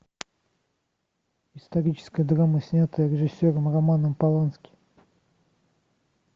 историческая драма снятая режиссером романом полански